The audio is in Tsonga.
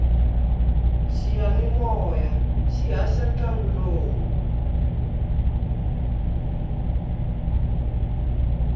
xiyanimoya xi haxa ntlangu lowu